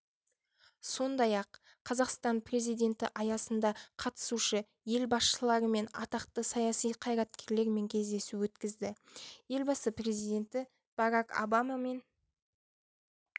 сондай-ақ қазақстан президенті аясында қатысушы-ел басшылары мен атақты саяси қайраткерлермен кездесу өткізді елбасы президенті барак обамамен